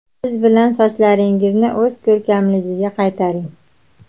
Biz bilan sochlaringizni o‘z ko‘rkamligiga qaytaring!